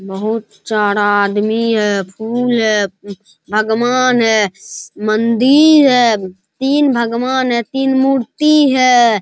बहुत सारा आदमी है फूल है भगवान है मंदिर है तीन भगवान है तीन मूर्ति है।